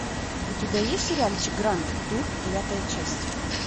у тебя есть сериальчик гранд тур девятая часть